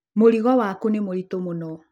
Mũrigo waku nĩ mũritũ mũno.